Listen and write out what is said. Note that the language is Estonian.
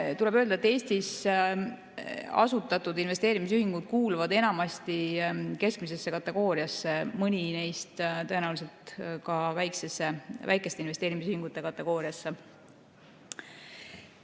Tuleb öelda, et Eestis asutatud investeerimisühingud kuuluvad enamasti keskmisesse kategooriasse, mõni neist tõenäoliselt ka väikeste investeerimisühingute kategooriasse.